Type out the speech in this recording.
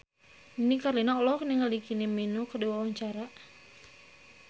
Nini Carlina olohok ningali Kylie Minogue keur diwawancara